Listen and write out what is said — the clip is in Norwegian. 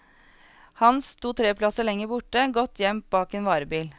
Hans stod tre plasser lenger borte, godt gjemt bak en varebil.